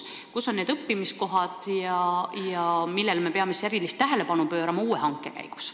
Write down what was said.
Kus on õppimiskohad ja millele me peame uue hanke käigus erilist tähelepanu pöörama?